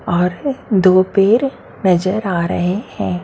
और दो पैर नजर आ रहे है।